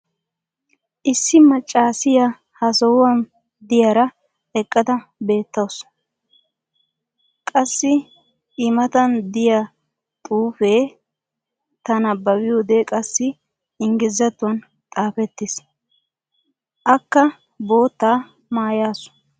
issi macaassiya ha sohuwan diyaara eqqada beetawusu. qassi i matan diya xuufee ta nabbabiyode qassi ingglizzatuwan xaafettiis. akka boottaa maayasu.